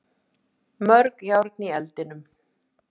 Mörg járn í eldinum